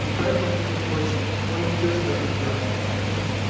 и поэтому между прочим он и ведёт себя как пьяный